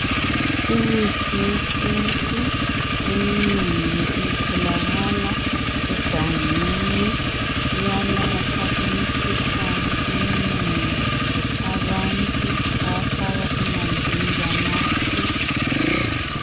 Imithi yesintu eminengi itholakala egangeni. Iyalapha imikhuhlane eminengi abantu bayafaka emanzini banathe.